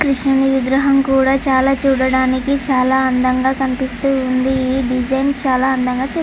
కృష్ణుడి విగ్రహం కూడా చాలా చూడటానికి చాలా అందముగా కనిపిస్తూ ఉంది ఈ డిజైన్ చాలా అందముగా --